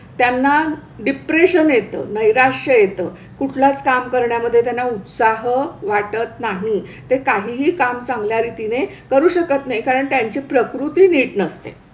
त्यांना डिप्रेशन येतं, नैराश्य येतं. कुठलंच काम करण्यामध्ये त्यांना उत्साह वाटत नाही. ते काहीही काम चांगल्या रीतीने करू शकत नाहीत कारण त्यांची प्रकृती नीट नसते.